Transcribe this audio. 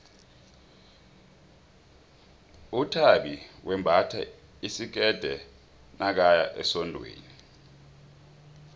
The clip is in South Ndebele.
uthabi wembatha isikerde nakaya esondweni